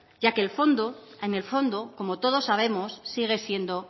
ya que el fondo en el fondo como todos sabemos sigue siendo